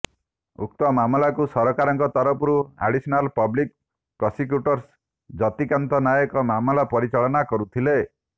ଉକ୍ତ ମାମଲାକୁ ସରକାରଙ୍କ ତରଫରୁ additional public prosecutor Jatikanta Nayak ମାମଲା ପରିଚାଳନା କରୁଥିଲେ